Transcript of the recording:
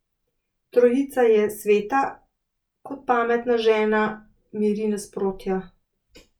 Trojica je sveta, kot pametna žena, miri nasprotja.